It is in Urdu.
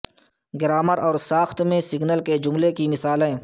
گرامر اور ساخت میں سگنل کے جملے کی مثالیں